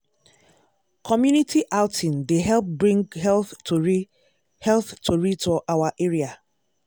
community outing dey help bring health tori health tori to our area.